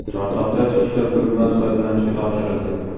Chortoqda ichki ishlar bo‘linmasi foydalanishga topshirildi.